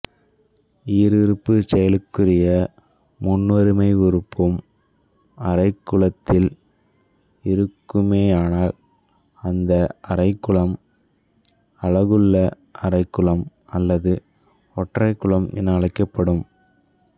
ஈருறுப்புச் செயலிக்குரிய முற்றொருமை உறுப்பும் அரைக்குலத்தில் இருக்குமேயானால் அந்த அரைக்குலம் அலகுள்ள அரைக்குலம் அல்லது ஒற்றைக்குலம் என அழைக்கப்படும்